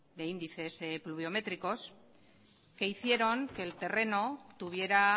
de índices pluviométricos que hicieron que el terreno tuviera